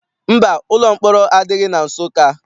Mba, ụlọ mkpọrọ adịghị na Nsụka.